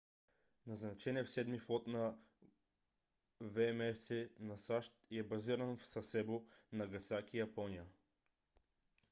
назначен е в седми флот на вмс на сащ и е базиран в сасебо нагасаки япония